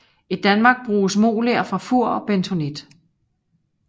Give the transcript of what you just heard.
I Danmark bruges moler fra Fur og bentonit